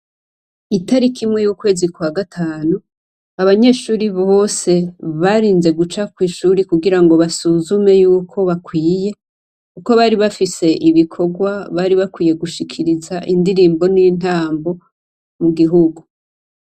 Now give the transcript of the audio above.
Italiki imwe y' ukwezi kwa gatanu, abanyeshuri bose barinze guca kw' ishuri kugirango basuzume yukwo bakwiye, kuko bari bafise ibikorwa bari bakwiye gushikiriza , indirimbo n' intambo, mu gihugu .